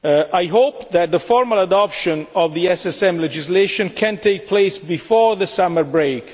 issues. I hope that the formal adoption of the SSM legislation can take place before the summer